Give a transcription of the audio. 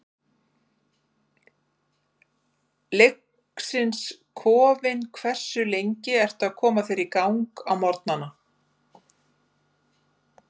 Leiknis kofinn Hversu lengi ertu að koma þér í gang á morgnanna?